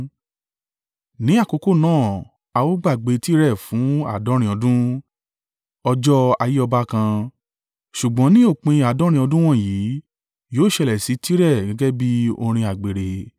Ní àkókò náà a ó gbàgbé Tire fún àádọ́rin ọdún, ọjọ́ ayé ọba kan. Ṣùgbọ́n ní òpin àádọ́rin ọdún wọ̀nyí, yóò ṣẹlẹ̀ sí Tire gẹ́gẹ́ bí orin àgbèrè: